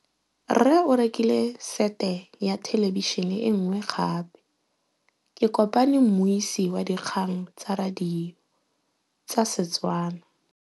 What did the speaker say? Rre o rekile sete ya thêlêbišênê e nngwe gape. Ke kopane mmuisi w dikgang tsa radio tsa Setswana.